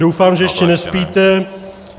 Doufám, že ještě nespíte.